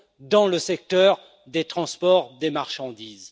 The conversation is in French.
dans le secteur des transports de marchandises.